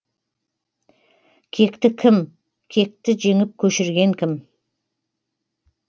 кекті кім кекті жеңіп көшірген кім